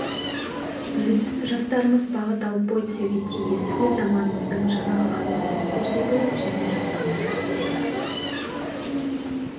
біз жастарымыз бағыт алып бой түзеуге тиіс өз заманымыздың жаңа қаһармандарын көрсету және жасауымыз керек